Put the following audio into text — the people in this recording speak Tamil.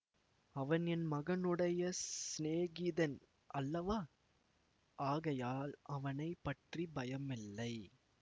அவன் என் மகனுடைய சிநேகிதன் அல்லவா ஆகையால் அவனை பற்றி பயமில்லை